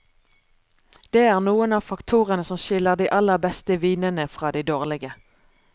Det er noen av faktorene som skiller de aller beste vinene fra de dårlige.